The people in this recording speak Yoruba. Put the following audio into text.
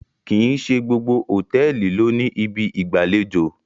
kín ṣe gbogbo hotẹẹli ló ní Ibi ìgbàlejò i.